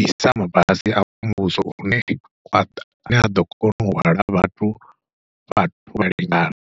ḓisa mabasi a muvhuso hune aḓo kona u hwala vhathu vhathu vha lingana.